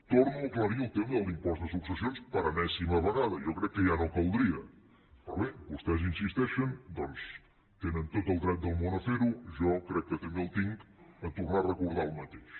torno a aclarir el tema de l’impost de successions per enèsima vegada jo crec que ja no caldria però bé vostès hi insisteixen doncs tenen tot el dret del món a fer ho jo crec que també el tinc a tornar a recordar el mateix